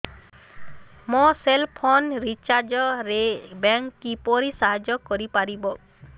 ମୋ cell phone recharge ରେ bank କିପରି ସାହାଯ୍ୟ କରିପାରିବ